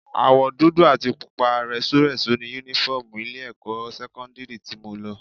Àwọ̀ dúdú àti pupa rẹ́súrẹ́sú ni Únífọ́ọ̀mù ilé-ẹ̀kọ́ sẹ́kọ́ndírì tí mo lọ